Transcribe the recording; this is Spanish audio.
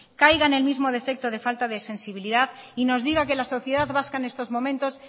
caigan en el mismo defecto de falta de sensibilidad y nos diga que la sociedad vasca en estos momentos